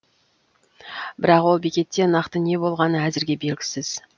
бірақ ол бекетте нақты не болғаны әзірге белгісіз